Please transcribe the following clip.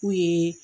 K'u ye